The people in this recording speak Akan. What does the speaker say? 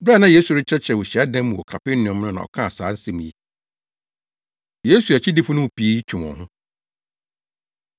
Bere a na Yesu rekyerɛkyerɛ wɔ hyiadan mu wɔ Kapernaum no na ɔkaa saa nsɛm yi. Yesu Akyidifo No Mu Pii Twe Wɔn Ho